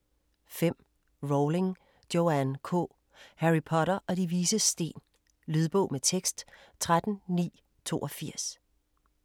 5. Rowling, Joanne K.: Harry Potter og De Vises Sten Lydbog med tekst 13982